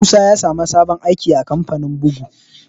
Musa ya sa mu sabon aiki a kamfanin bugu